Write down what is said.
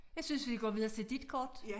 Jeg synes vi går videre til dit kort